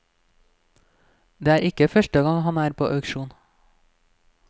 Det er ikke første gang han er på auksjon.